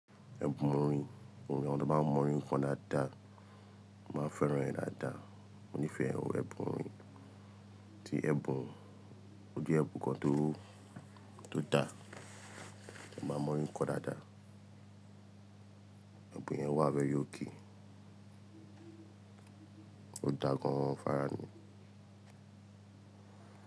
Ẹ̀bùn orin, àwọn tí wọ́n bá mọ orin kọ dáadáa, mo máa ń fẹ́ràn ẹ́ dáadáa. Mo nífẹ̀ẹ́ ẹ̀bùn orin, tí ẹ̀bùn, o jẹ́ ẹ̀bùn kan tó, tó dà, ẹ máa mọ orin kan dáadáa. Ẹ̀bùn yẹn wà very okay. Ó dà gan-an fara mi.